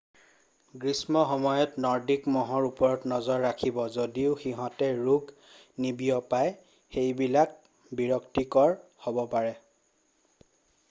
গ্ৰীষ্মৰ সময়ত নৰ্ডিক মহৰ ওপৰত নজৰ ৰাখিব যদিও সিহঁতে ৰোগ নিবিয়পাই সেইবিলাক বিৰক্তিকৰ হ'ব পাৰে